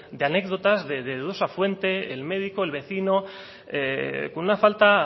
de anécdotas de dudosa fuente el médico el vecino con una falta